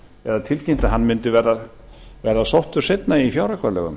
eða tilkynnt að hann mundi verða sóttur seinna í fjáraukalögum